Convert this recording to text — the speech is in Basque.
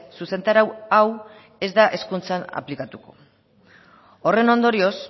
zuzentarau hau ez da hezkuntzan aplikatuko horren ondorioz